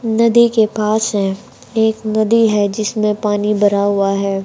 नदी के पास है एक नदी है जिसमें पानी भरा हुआ है।